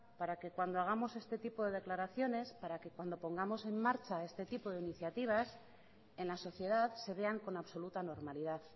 para que cuando hagamos este tipo de declaraciones para que cuando pongamos en marcha este tipo de iniciativas en la sociedad se vean con absoluta normalidad